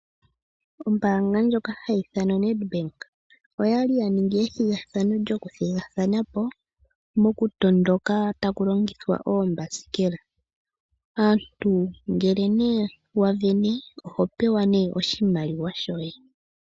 Ombaanga ndjoka hayi ithanwa Ned bank oyali ya ningi ethiga thano, djoku thigathana po moku tondoka taku longithwa oombaskela aantu ngele nee wa vene oho pewa nee oshimaliwa shoye.